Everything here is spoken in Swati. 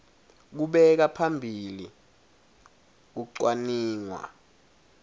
kubeka phambili kucwaningwa